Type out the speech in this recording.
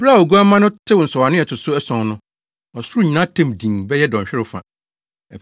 Bere a Oguamma no tew nsɔwano a ɛto so ason no, ɔsoro nyinaa tɛm dinn bɛyɛ dɔnhwerew fa.